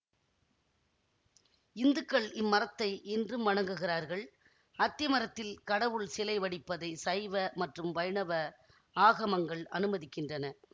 இந்துக்கள் இம்மரத்தை இன்றும் வணங்குகிறார்கள் அத்தி மரத்தில் கடவுள் சிலை வடிப்பதை சைவ மற்றும் வைணவ ஆகமங்கள் அனுமதிக்கின்றன